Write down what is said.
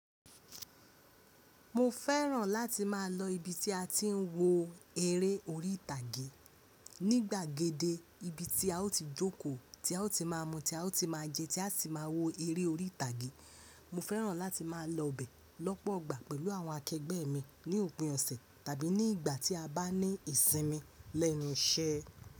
Mo fẹ́ràn láti má a lọ ibi tí a ti ń wo eré orí ìtàgé. Ní gbàgede ibi tí a ó ti jókòó, tí a ó ti má mú, tí a ó ti má jẹ, tí a si ti má wo eré orí ìtàgé. Mo fẹ́ràn láti má a lọ bẹ̀ lọ́pọ̀ igbà pẹ̀lú àwọn akẹgbẹ́ mi ní òpin ọ̀sẹ̀ tàbí ní ìgbà tí a bá ní ìsinmi lẹ́nu iṣẹ́.